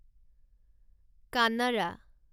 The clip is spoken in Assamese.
কান্নাডা